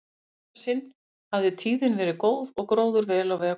Í þetta sinn hafði tíðin verið góð og gróður vel á veg kominn.